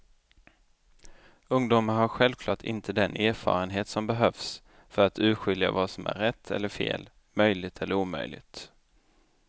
Ungdomar har självklart inte den erfarenhet som behövs för att urskilja vad som är rätt eller fel, möjligt eller omöjligt.